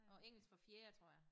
Og engelsk fra fjerde tror jeg